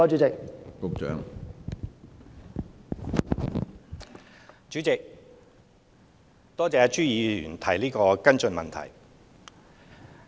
主席，多謝朱議員提出的補充質詢。